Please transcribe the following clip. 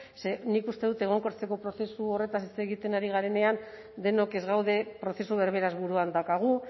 ze nik uste dut egonkortzeko prozesu horretaz hitz egiten ari garenean denok ez gaude prozesu berberaz buruan daukagu